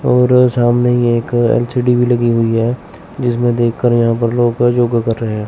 और सामने ही एक एल_सी_डी भी लगी हुई है जिसमें देखकर यहां पर लोग योगा कर रहे हैं।